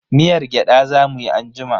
Miyar gyada za mu yi anjima.